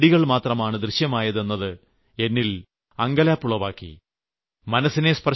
പകരം ചെടികൾമാത്രമാണ് ദൃശ്യമായത് എന്നത് എന്നിൽ അമ്പരപ്പുളവാക്കി